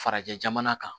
Farajɛ jamana kan